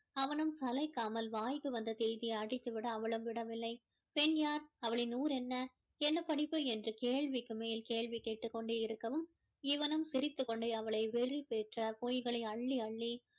அவனும் சலைக்காமல் வாய்க்கு வந்த தேதியை அடித்து விட அவளும் விட வில்லை பெண் யார் அவளின் ஊர் என்ன என்ன படிப்பு என்று கேள்விக்கு மேல் கேள்வி கேட்டு கொண்டே இருக்கவும் இவனும் சிரித்துக்கொண்டே அவளை வெறுப்பேற்ற பொய்களை அள்ளி அள்ளி